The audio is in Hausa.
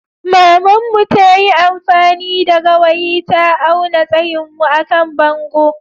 Maman mu ta yi amfani da gawayi ta awna tsayin mu à kan bongo.